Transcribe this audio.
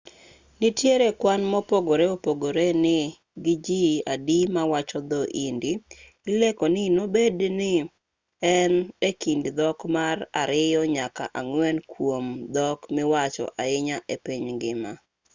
nitiere kwan mopogore opogore ni gi ji adi mawacho dho-hindi ilieko ni dobed ni en e kind dhok mar ariyo nyaka ang'wen kuom dhok miwacho ahinya e piny ngima